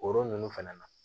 O yɔrɔ ninnu fana na